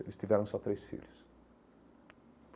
Eles tiveram só três filhos.